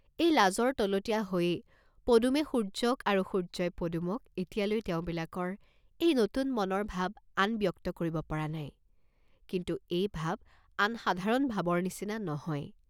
এই লাজৰ তলতীয়া হৈয়েই পদুমে সূৰ্য্যক আৰু সূৰ্য্যই পদুমক এতিয়ালৈ তেওঁবিলাকৰ এই নতুন মনৰ ভাব আন ব্যক্ত কৰিব পৰা নাই, কিন্তু এই ভাব আন সাধাৰণ ভাবৰ নিচিনা নহয়।